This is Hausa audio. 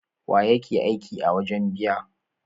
Wa yake aiki a wajen biya?